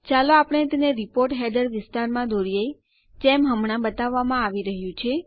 ચાલો આપણે તેને રીપોર્ટ હેડર વિસ્તારમાં દોરીએ જેમ હમણાં બતાવવામાં આવી રહ્યું છે